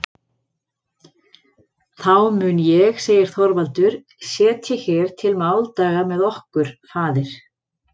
Þá mun ég segir Þorvaldur, setja hér til máldaga með okkur, faðir!